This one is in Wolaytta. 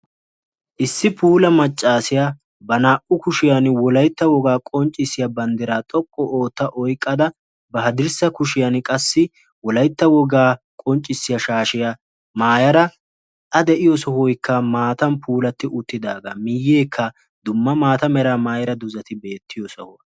issi puula maccaasiyaa ba naa''u kushiyan wolaytta wogaa qonccissiya banddiraa xoqqu ootta oyqqada ba hadirssa kushiyan qassi wolaytta wogaa qonccissiyaa shaashiya maayara a de'iyo sohoykka maatan puulatti uttidaagaa miiyyeekka dumma maata mera maayara duzati beettiyo sohuwaa